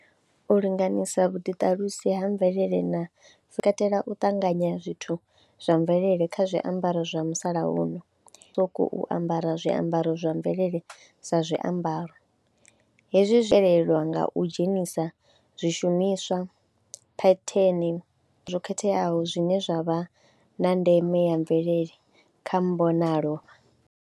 U linganyisa vhuḓiṱalusi ha mvelele na, zwi katela u ṱanganya zwithu zwa mvelele kha zwiambaro zwa musalauno, u sokou ambara zwiambaro zwa mvelele sa zwiambaro. Hezwi zwi telelwa nga u dzhenisa zwishumiswa, phetheni zwo khetheaho zwine zwa vha na ndeme ya mvelele kha mbonalo.